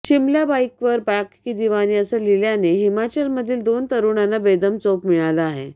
शिमला बाईकवर पाक की दिवानी असं लिहिल्याने हिमाचलमधील दोन तरुणांना बेदम चोप मिळाला आहे